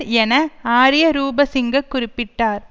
என ஆரிய ரூபசிங்க குறிப்பிட்டார்